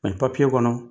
Ani kɔnɔ